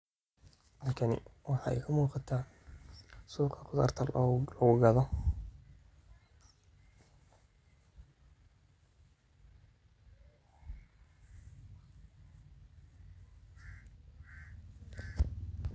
Halkani waxa iga muqata suuqa khudarta lugu gado.